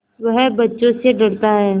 वह बच्चों से डरता है